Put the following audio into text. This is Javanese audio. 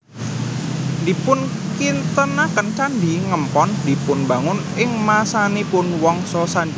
Dipunkintenaken Candhi Ngempon dipunbangun ing masanipun Wangsa Sanjaya